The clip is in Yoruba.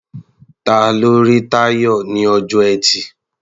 Ta ló rí Táyọ̀ ní ọjọ́ Ẹtì?